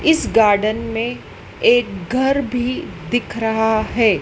इस गार्डन में एक घर भी दिख रहा हैं।